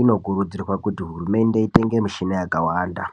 inokurudzirwa kuti hurumende itenge mishina yakawanda .